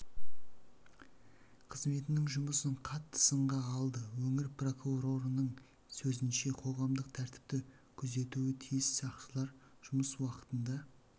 қызметінің жұмысын қатты сынға алды өңір прокурорының сөзінше қоғамдық тәртіпті күзетуі тиіс сақшылар жұмыс уақытында